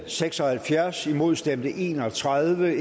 seks og halvfjerds imod stemte en og tredive